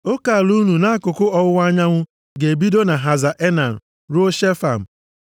Oke ala unu nʼakụkụ ọwụwa anyanwụ ga-ebido na Haza Enan ruo Shefam.